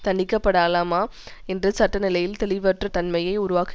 தண்டிக்கப்படலாமா என்ற சட்ட நிலையில் தெளிவற்ற தன்மையை உருவாக்கு